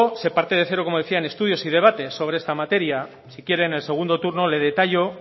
se parte de cero como decía en estudios y debates sobre esta materia si quiere en el segundo turno le detallo